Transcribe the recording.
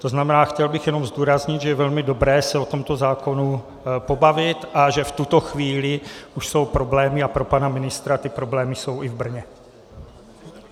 To znamená, chtěl bych jenom zdůraznit, že je velmi dobré se o tomto zákonu pobavit a že v tuto chvíli už jsou problémy - a pro pana ministra, ty problémy jsou i v Brně.